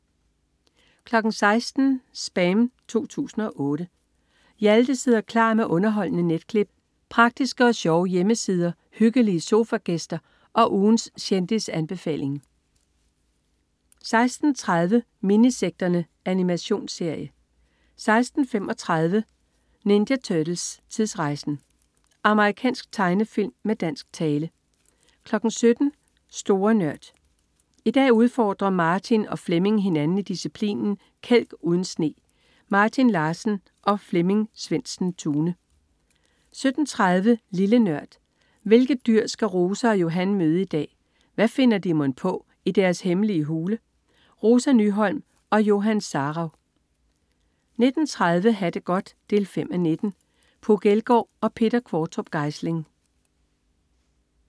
16.00 SPAM 2008. Hjalte sidder klar med underholdende netklip, praktiske og sjove hjemmesider, hyggelige sofagæster og ugens kendisanbefaling 16.30 Minisekterne. Animationsserie 16.35 Ninja Turtles: Tidsrejsen! Amerikansk tegnefilm med dansk tale 17.00 Store Nørd. I dag udfordrer Martin og Flemming hinanden i disciplinen "Kælk uden sne". Martin Larsen og Flemming Svendsen-Tune 17.30 Lille Nørd. Hvilket dyr skal Rosa og Johan møde i dag, og hvad finder de mon på i deres hemmelige hule? Rosa Nyholm og Johan Sarauw 19.30 Ha' det godt 5:19. Puk Elgård og Peter Qvortrup Geisling